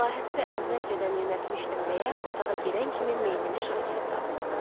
Məlahəti də əvvəlcədən yönəltmişdim deyə otağa girən kimi meylini Şakirə saldı.